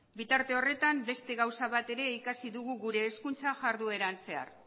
bitarte horretan beste gauza bat ere ikasi dugu gure hezkuntza jardueran zehar